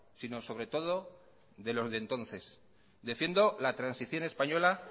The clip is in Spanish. sino sobre todo de los de entonces defiendo la transición española